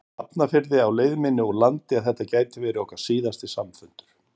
Hafnarfirði á leið minni úr landi að þetta gæti verið okkar síðasti samfundur.